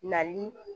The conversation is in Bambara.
Nali